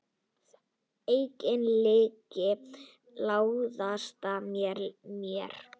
Engin lygi læðast að mér.